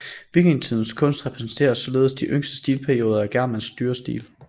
Vikingetidens kunst repræsenterer således de yngste stilperioder af germansk dyrestil